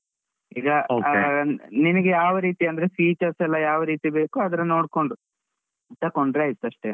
ನಿಮಿಗೆ ಯಾವ್ ರೀತಿ ಅಂದ್ರೆ features ಎಲ್ಲ ಯಾವ್ ರೀತಿ ಬೇಕು ಅದ್ರ ನೋಡ್ಕೊಂಡು, ತಕೊಂಡ್ರೆ ಆಯ್ತಷ್ಟೇ.